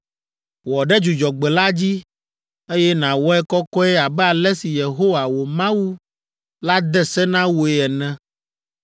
Wɔ ɖe Dzudzɔgbe la dzi, eye nàwɔe kɔkɔe abe ale si Yehowa, wò Mawu la de se na wòe ene.